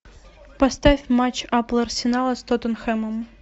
поставь матч апл арсенала с тоттенхэмом